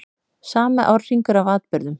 Sami árhringur af atburðum.